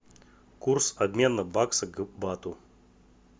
курс обмена бакса к бату